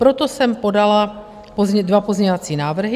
Proto jsem podala dva pozměňovací návrhy.